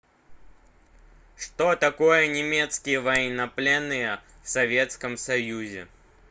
что такое немецкие военнопленные в советском союзе